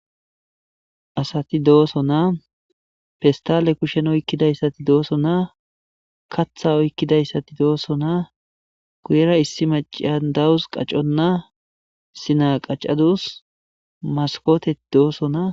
asati dooso naa fistale kushen oykkidayssati dooso naa katha oykkidayssati dooso naa guyera issi maciya dawus qacconnaa sina qacadus maskotet dooso naa